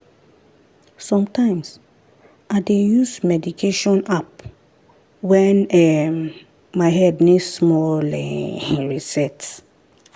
sometimes i dey use meditation app when um my head need small um reset.